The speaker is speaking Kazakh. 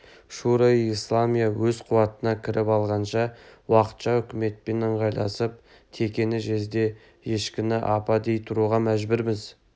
шуро-и-исламия өз қуатына кіріп алғанша уақытша үкіметпен ыңғайласып текені жезде ешкіні апа дей тұруға мәжбүрміз